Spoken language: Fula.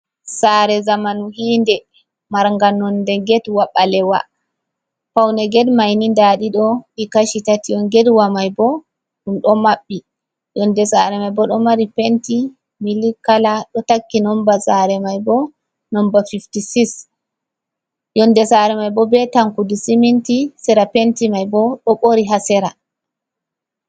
sare zamanu hiinɗe, marga nonɗe getwa ɓalewa. Paune get maini nɗaɗiɗo ɗi kashi tati on. Getwa mai ɓo ɗum ɗo maɓɓi. Yonɗe sare mai ɓo ɗo mari penti milik kala. Ɗo takki nomɓa sare mai ɓo nombar fivti sis. Yonɗe sare mai ɓo ɓe tankuɗi siminti, sera penti mai ɓo ɗo ɓori ha sera.